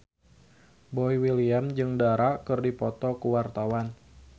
Boy William jeung Dara keur dipoto ku wartawan